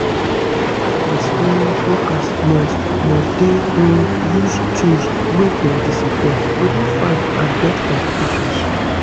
health center um workers must must dey um use tools wey dem disinfect to dey fine and dodge complications